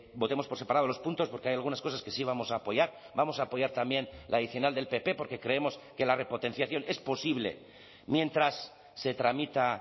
votemos por separado los puntos porque hay algunas cosas que sí vamos a apoyar vamos a apoyar también la adicional del pp porque creemos que la repotenciación es posible mientras se tramita